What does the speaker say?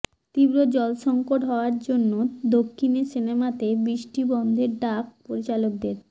তীব্র জলসঙ্কট হওয়ার জন্য দক্ষিণে সিনেমাতে বৃষ্টি বন্ধের ডাক পরিচালকদের